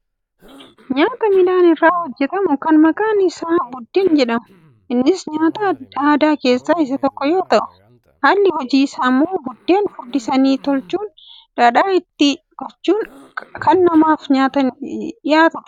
Nyaata midhaan irraa hojjatamu kan maqaan isaa buddeen jedhamudha. Innis nyaata aadaa keessaa isa tokoo yoo ta'u haalli hojii isaa ammoo buddeen furdisanii tolchuun dhadhaa itti gochuun kan namaaf dhiyaatudha.